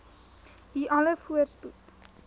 u alle voorspoed